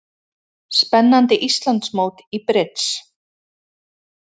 Spennandi Íslandsmót í brids